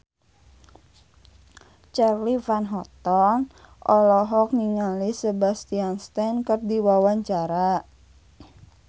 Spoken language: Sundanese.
Charly Van Houten olohok ningali Sebastian Stan keur diwawancara